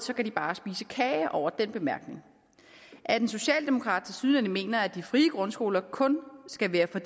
kan de bare spise kage over den bemærkning at en socialdemokrat tilsyneladende mener at de frie grundskoler kun skal være for